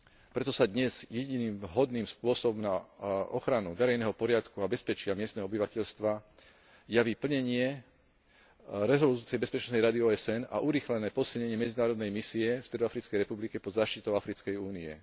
Preto sa dnes jediným vhodným spôsobom na ochranu verejného poriadku a bezpečia miestneho obyvateľstva javí plnenie rezolúcie Bezpečnostnej rady OSN a urýchlené posilnenie medzinárodnej misie v Stredoafrickej republike pod záštitou Africkej únie.